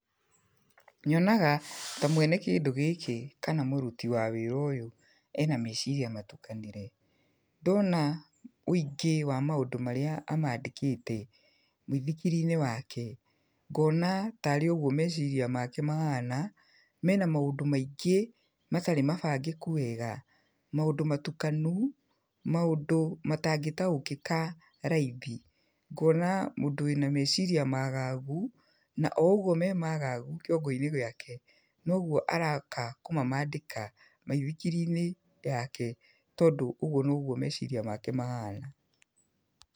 Nyonaga ta mwene kĩndũ gĩkĩ kana mũruti wa wĩra ũyũ ena meciria matukanĩre. Ndona wĩingĩ wa maũndũ marĩa amandĩkĩte mũithikiri-inĩ wake, ngona tarĩ ũgwo meciria make mahana, mena maũndũ maingĩ matarĩ mabangĩku wega. Maũndũ matukanu, maũndũ matangĩtaũkĩka raithi. Ngona mũndũ wĩna meciiria magagu na o ũgwo me magagu kĩongo-inĩ gĩake, nogwo araka kũmamandĩka maithikiri-inĩ yake tondũ ũgwo nogwo meciria make mahana.